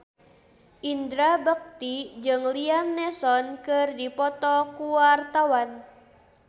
Indra Bekti jeung Liam Neeson keur dipoto ku wartawan